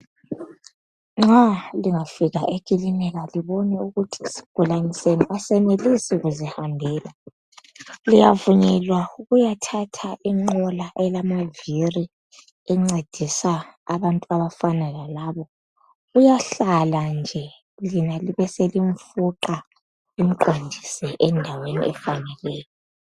Nxa lingafika ekilinika lobone ukuthi isigulane senu asenelisi ukuhamba liyavunyelwa ukuyathatha ingqola lisifuqe lisihambise endaweni efaneleyo liqondise amabili.